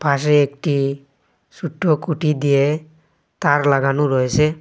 পাশে একটি সোট্ট খুটি দিয়ে তার লাগানো রয়েসে।